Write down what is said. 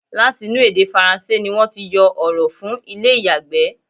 Láti inú èdè faransé ni wọ́n ti yọ ọ̀rọ̀ fún ilé ìyàgbẹ́.